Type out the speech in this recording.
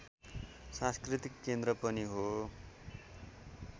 संस्कृतिको केन्द्र पनि हो